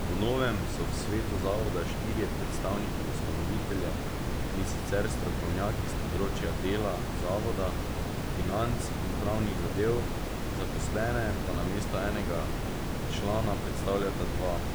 Po novem so v svetu zavoda štirje predstavniki ustanovitelja, in sicer strokovnjaki s področja dela zavoda, financ in pravnih zadev, zaposlene pa namesto enega člana predstavljata dva.